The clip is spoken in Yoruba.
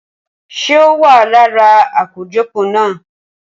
Ṣé o wa lára akojọpọ na?